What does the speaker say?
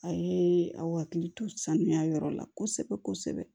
A ye aw hakili to sanuya yɔrɔ la kosɛbɛ kosɛbɛ